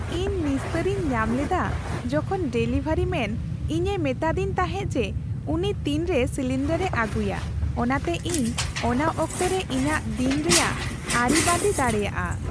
ᱤᱧ ᱱᱤᱥᱛᱟᱹᱨᱤᱧ ᱧᱟᱢ ᱞᱮᱫᱟ ᱡᱚᱠᱷᱚᱱ ᱰᱮᱞᱤᱵᱷᱟᱨᱤ ᱢᱮᱱ ᱤᱧᱮ ᱢᱤᱛᱟᱫᱤᱧ ᱛᱟᱦᱮᱸ ᱡᱮ ᱩᱱᱤ ᱛᱤᱱᱨᱮ ᱥᱤᱞᱤᱱᱰᱟᱨᱮ ᱟᱹᱜᱩᱭᱟ, ᱚᱱᱟᱛᱮ ᱤᱧ ᱚᱱᱟ ᱚᱠᱛᱚᱨᱮ ᱤᱧᱟᱹᱜ ᱫᱤᱱ ᱨᱮᱭᱟᱜ ᱨᱮᱭᱟᱜ ᱟᱹᱨᱤᱵᱟᱹᱫᱤ ᱫᱟᱲᱮᱭᱟᱜᱼᱟ ᱾